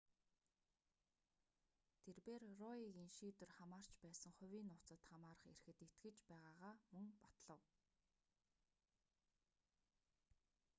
тэрбээр роегийн шийдвэр хамаарч байсан хувийн нууцад хамаарах эрхэд итгэж байгаагаа мөн батлав